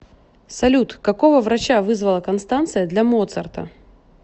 салют какого врача вызвала констанция для моцарта